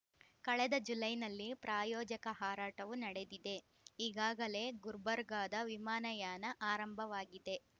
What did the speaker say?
ಕಳೆದ ಜುಲೈನಲ್ಲಿ ಪ್ರಾಯೋಜಕ ಹಾರಾಟವು ನಡೆದಿದೆ ಈಗಾಗಲೇ ಗುರ್ಬರ್ಗಾದ ವಿಮಾನಯಾನ ಆರಂಭವಾಗಿದೆ